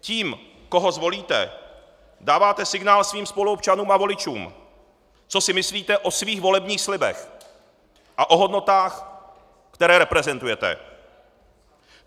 Tím, koho zvolíte, dáváte signál svým spoluobčanům a voličům, co si myslíte o svých volebních slibech a o hodnotách, které reprezentujete.